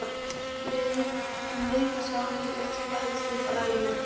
En vikan sjálf lagðist illa í mig.